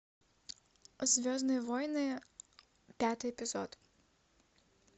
звездные войны пятый эпизод